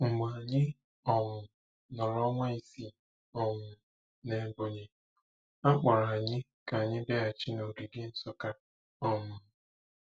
Mgbe anyị um nọrọ ọnwa isii um n’Ebonyi, a kpọrọ anyị ka anyị bịaghachi n’ogige Nsukka. um